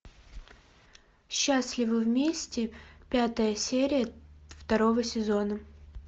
счастливы вместе пятая серия второго сезона